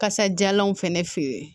Kasadiyalanw fɛnɛ fe yen